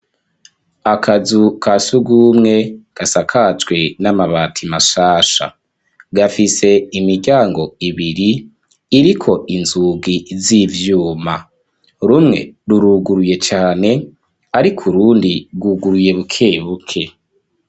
Akazu ka shurwumwe, gasakajwe n'amabati, mashasha; gafise imiryango ibiri, iriko inzugi z'ivyuma; rumwe ruruguruye cane, ariko urundi, rwuguruye buke buke.